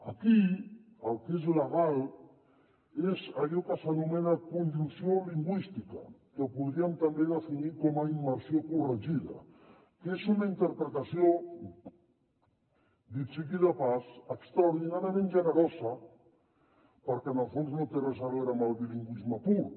aquí el que és legal és allò que s’anomena conjunció lingüística que podríem també definir com a immersió corregida que és una interpretació dit sigui de pas extraordinàriament generosa perquè en el fons no té res a veure amb el bilingüisme pur